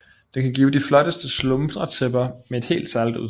Det kan give de flotteste slumretæpper med et helt særlig udtryk